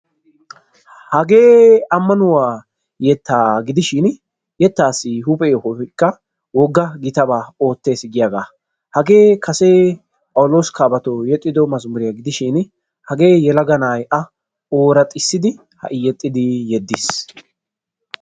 Hagee amannuwa yetta gidishin yetta huuphe yohoy wogga gitaba ootees giyaaga. Yelaga na'ay yetta ooraxxissiddi yeddiis.